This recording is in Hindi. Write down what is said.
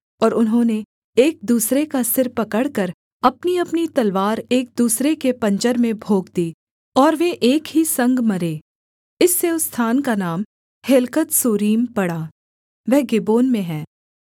और उन्होंने एक दूसरे का सिर पकड़कर अपनीअपनी तलवार एक दूसरे के पाँजर में भोंक दी और वे एक ही संग मरे इससे उस स्थान का नाम हेल्कथस्सूरीम पड़ा वह गिबोन में है